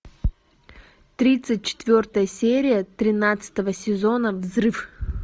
тридцать четвертая серия тринадцатого сезона взрыв